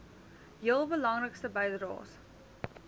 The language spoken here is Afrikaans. heel belangrikste bydraers